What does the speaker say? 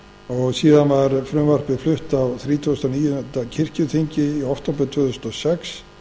og síðan var frumvarpið flutt á þrítugasta og níunda kirkjuþingi í október tvö þúsund og sex